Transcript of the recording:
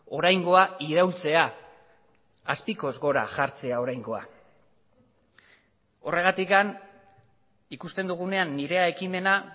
oraingoa iraultzea azpikoz gora jartzea oraingoa horregatik ikusten dugunean nirea ekimena